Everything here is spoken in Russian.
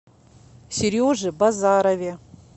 сереже базарове